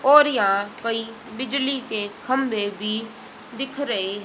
और यहां कई बिजली के खंभे भी दिख रहे --